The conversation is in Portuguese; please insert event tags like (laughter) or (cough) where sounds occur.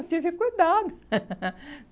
Eu tive cuidado. (laughs)